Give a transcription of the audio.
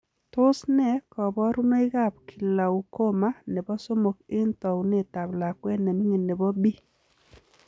Tos ne kabarunoik ap kilaukoma nepoo somok eng taunet ap lakwet nemining nepo B?